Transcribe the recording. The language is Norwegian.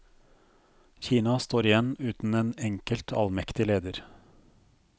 Kina står igjen uten en enkelt, allmektig leder.